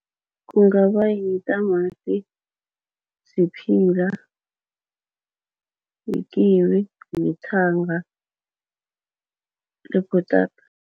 Kungaba yitamati, siphila nekiwi, nethanga nebhutata.